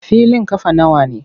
Filin ƙafa nawa ne?